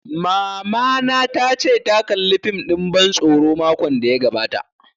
Mamana ta ce ta kalla fim ɗin ban tsoro makon da ya gabata